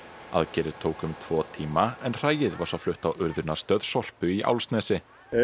aðgerðir tóku um tvo tíma en hræið var svo flutt á Sorpu í Álfsnesi